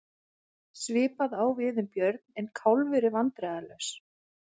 Svipað á við um Björn en Kálfur er vandræðalaus.